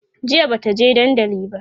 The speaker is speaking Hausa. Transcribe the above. jiya Bata je dandali ba